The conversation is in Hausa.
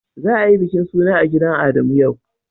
Za a yi bikin suna a gidan Adamu yau.